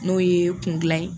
N'o ye kun dilan ye